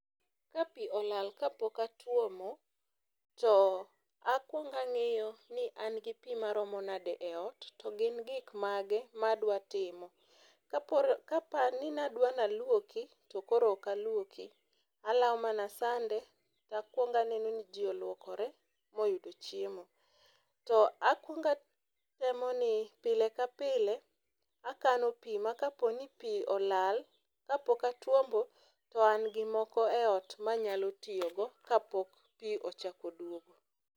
Ka pi olal ka pok atuomo to akwongo angiyo ni ana gi pii maromo nade eot to gin gik mage madwa timo. Kapo ni adwa nalwoki to koro ok alwoki alawo mana sande takwongo aneno ni jii olwokore mii oyudo chiemo. To akwongo atemo ni pile ka pile akano pii ma kapo ni pii olal kapok atuombo to an gi moko manyalo tiyo go kapok pii ochak oduogo.